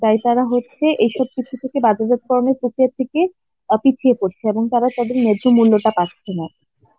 তাই তারা হচ্ছে এইসব কিছু থেকে বাজারজাত করানোর প্রক্রিয়া থেকে অ পিছিয়ে পরছে এবং তারা তাদের ন্যায্য মূল্য টা পাচ্ছে না.